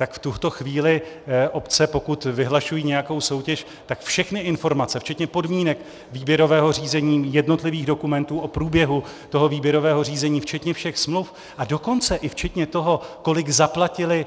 Tak v tuto chvíli obce, pokud vyhlašují nějakou soutěž, tak všechny informace, včetně podmínek výběrového řízení, jednotlivých dokumentů o průběhu toho výběrového řízení, včetně všech smluv, a dokonce i včetně toho, kolik zaplatili